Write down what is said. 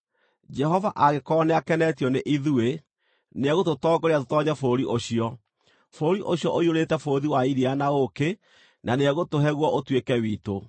Jehova angĩkorwo nĩakenetio nĩ ithuĩ, nĩegũtũtongoria tũtoonye bũrũri ũcio, bũrũri ũcio ũiyũrĩte bũthi wa iria na ũũkĩ, na nĩegũtũhe guo ũtuĩke witũ.